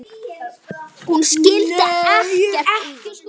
Hún skildi ekkert í því.